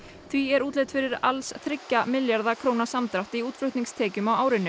því er útlit fyrir alls þriggja milljarða króna samdrátt í útflutningstekjum á árinu